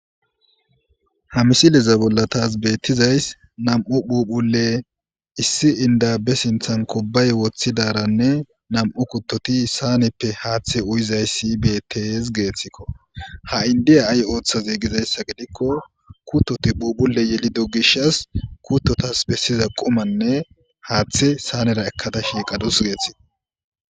Ha misileza bolla taas beettizays nam7u phuphule issi indabe sinthan kobay woththidaranne nam7u kuttoti saaneppe haaththe uyizayssi bettez geeththikko ha7indiya ay ooththa zeegizayssa gidikko kuttoti phuphule yelido gish as kuttotas bessiza qomanne haaththe saanera ekkada shiiqadus geeththio.